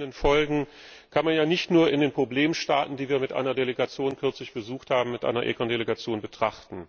Die verheerenden Folgen kann man ja nicht nur in den Problemstaaten, die wir mit einer ECON Delegation kürzlich besucht haben, betrachten.